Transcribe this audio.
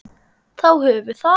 Þá höfum við það.